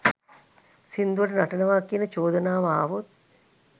සිංදුවට නටනවා කියන චෝදනාව ආවොත්